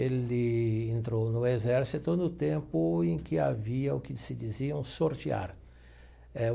Ele entrou no exército no tempo em que havia o que se diziam sortear eh.